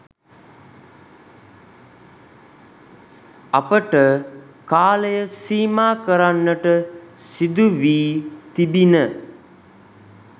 අපට කාලය සීමා කරන්නට සිදුවී තිබිණ.